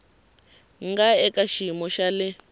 nga eka xiyimo xa le